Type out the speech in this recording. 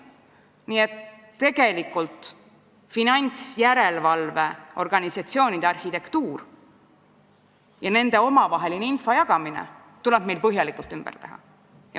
Nii et finantsjärelevalveorganisatsioonide arhitektuur ja info jagamine nende vahel tuleb meil põhjalikult ümber teha.